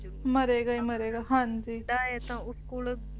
ਮਰੇਗਾ ਹੀ ਮਰੇਗਾ ਹਾਂਜੀ